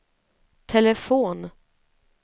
telefon